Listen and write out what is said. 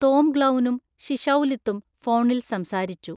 തോംഗ്ലൗനും ശിശൗലിത്തും ഫോണില്‍ സംസാരിച്ചു.